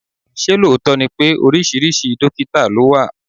Ṣé lóòótọ́ ni pé oríṣiríṣi dọ́kítà ló wà?